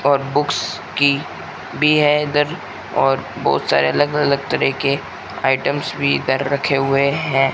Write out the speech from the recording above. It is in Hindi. और बुक्स की बी है इधर और बहोत सारे अलग अलग तरह के आइटम्स भी इधर रखे हुए हैं।